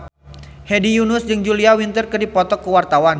Hedi Yunus jeung Julia Winter keur dipoto ku wartawan